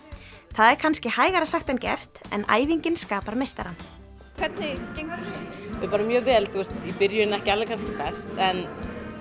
það er kannski hægara sagt en gert en æfingin skapar meistarann hvernig gengur bara vel í byrjun ekki best en